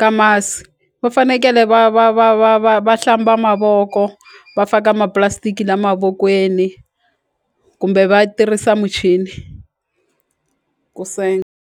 ka masi va fanekele va va va va va va hlamba mavoko va faka ma-plastick-i la mavokweni kumbe va tirhisa muchini ku .